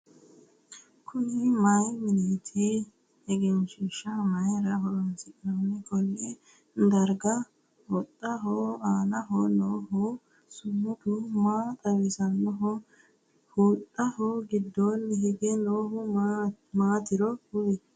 Kunni mayi mineeti? egenshiisha mayira horoonsi'nanni? Konni dargira huxaho aannaho noohu sumudu maa xawosanohu? Huxaho gidoonni hige noohu maatiro kuli?